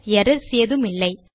errors ஏதுமில்லை